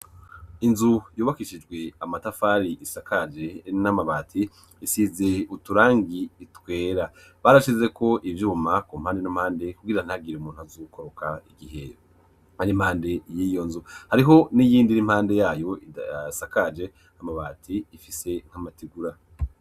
Inzu yubakishijwe amatafari isakaje n'amabati isize uturangi twera. Barashizeko ivyuma ku mpande n'impande kugira ntihagire umuntu azokoroka igihe impande y'iyo nzu. Hariho n'iyindi ira impande yayo idasakaje amabati ifise nk'amatigura.